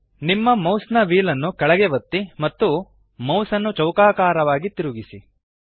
ನಿಮ್ಮ ಮೌಸ್ನ ವ್ಹೀಲ್ ನ್ನು ಕೆಳಗೆ ಒತ್ತಿ ಮತ್ತು ಮೌಸ್ ನ್ನು ಚೌಕಾಕಾರವಾಗಿ ತಿರುಗಿಸಿ